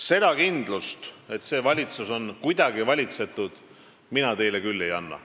Seda kindlust, et see valitsus kuidagi valitseb, mina teile küll ei anna.